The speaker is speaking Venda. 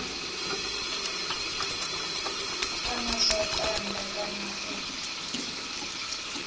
kana zwa tanda kana u